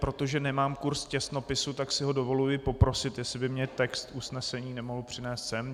Protože nemám kurs těsnopisu, tak si ho dovoluji poprosit, jestli by mi text usnesení nemohl přinést sem.